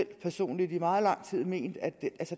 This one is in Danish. personligt i meget lang tid ment at